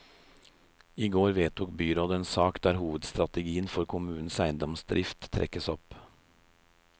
I går vedtok byrådet en sak der hovedstrategien for kommunens eiendomsdrift trekkes opp.